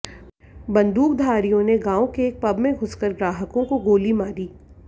बंदूकधारियों ने गांव के एक पब में घुसकर ग्राहकों को गोली मारी